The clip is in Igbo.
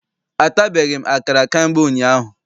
Atabeghị m akara ka mgbe ụnyaahụ.